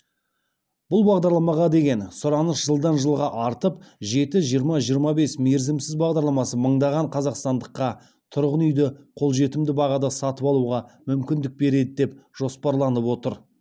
бұл бағдарламаға деген сұраныс жылдан жылға артып жеті жиырма жиырма бес мерзімсіз бағдарламасы мыңдаған қазақстандыққа тұрғын үйді қолжетімді бағада сатып алуға мүмкіндік береді деп жоспарланып отыр